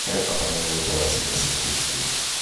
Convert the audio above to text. he bata mũno gũtwara ciana ciaku cukuru